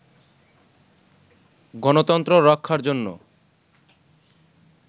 গণতন্ত্র রক্ষার জন্য